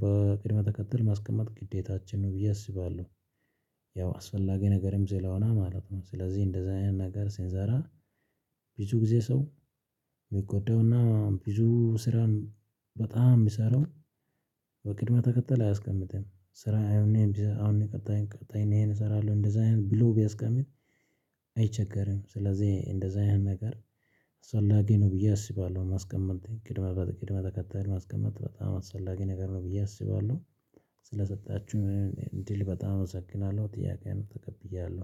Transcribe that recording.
በቅድም ተከተል ማስቀመጥ ግዴታችን ነው ብዬ አስባለሁ። ያው አስፈላጊ ነገርም ስለሆነ ማለት ነው ስለዚህ እንደዛ አይነት ነገር ሲንሰራ። ብዙ ጊዜ ሰው ሚጎዳውና ብዙ ስራን በጣም ሚሰራው። በቅድመ ተከተል አያስቀምጥም ስራ አሁን አሁን ቀጣይ ቀጣይ እሄን እሰራለሁ እንደዛ ብሎ ቢያስቀምጥ። አይቸገርም ስለዚህ እንደዛ አይነት ነገር አስፈላጊ ነው ብዬ አስባለሁ። ማስቀመጥ ቅድመ በቅድመ ተከተል ማስቀመጥ በጣም አስፈላጊ ነገር ነው ብዬ አስባለሁ። ስለሰጣችሁኝ እንድል በጣም እመሰግናለሁ ጥያቄውን ተቀብያለሁ